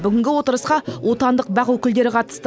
бүгінгі отырысқа отандық бақ өкілдері қатысты